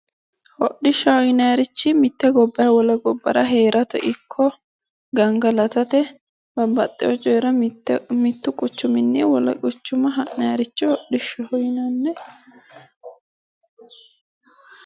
Hodhishshaho yinnanirichi mite gobbara wole gobbara heerate ikko gangalattate babbaxino coyira mitu quchuminni wole quchuma ha'nanniricho hodhishshaho yinnanni.